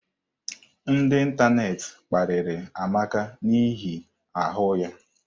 Ndị ịntanetị mkpariri Amaka n'ihi ahụ ya.